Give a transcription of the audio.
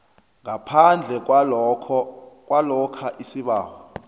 ngaphandle kwalokha isibawo